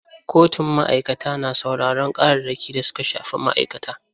Kotun ma'aikata na sauraron ƙararraki da suka shafi ma'aikata.